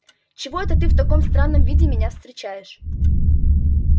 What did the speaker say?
чего это ты в таком странном виде меня встречаешь